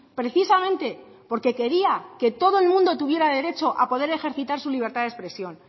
precisamente porque quería que todo el mundo tuviera derecho a poder ejercitar su libertad de expresión